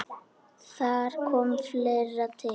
Þar kom fleira til.